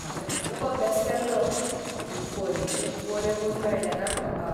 हांवें खूब अभ्यास केल्लो, पूण परिक्षेंत बरे गूण मेळ्ळें नात म्हाका.